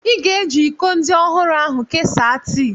Ị ga-eji iko ndị ọhụrụ ahu kesaa tii